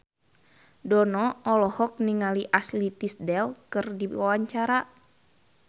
Dono olohok ningali Ashley Tisdale keur diwawancara